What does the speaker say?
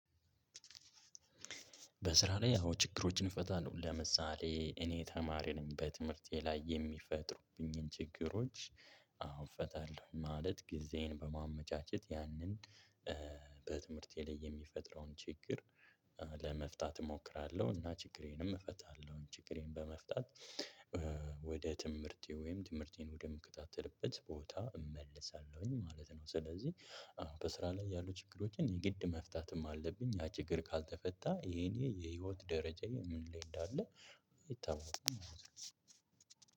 በስራ ላይ አዎ ችግሮችን እፈታለሁ ለምሳሌ እኔ ተማሪ ነኝ። በትምህርቴ ላይ የሚፈጥሩብኝን ችግሮች አዎ እፈታለሁ ማለት ጊዜዬን በማመቻቸት ያንን። በትምህርቴ ላይ የሚፈጥረውን ችግር። ለመፍታት እሞክራለሁ እና ችግሬንም እፈታለሁ ችግሬን በመፍታት ወደ ትምህርቴ ወይም ትምህርቴን ወደምከታተልበት ቦታ እመልሳለሁኝ ማለት ነው። ስለዚህ አዎ በስራ ላይ ያሉ ችግሮችን የግድ መፍታትም አለብኝ ያ ችግር ካልተፈታ የኔ የህይወት ደረጃዬ ምን ላይ እንዳለ አይታወቅም።